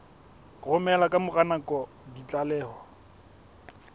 romela ka mora nako ditlaleho